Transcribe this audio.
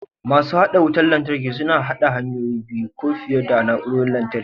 Masu haɗa wutar lantarki suna haɗa hanya biyu ko fiye da na'urorin lantarki.